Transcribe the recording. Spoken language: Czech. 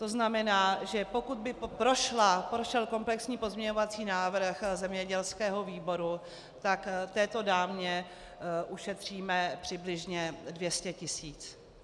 To znamená, že pokud by prošel komplexní pozměňovací návrh zemědělského výboru, tak této dámě ušetříme přibližně 200 tisíc.